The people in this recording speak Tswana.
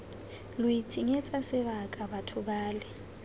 lo itshenyetsa sebaka batho bale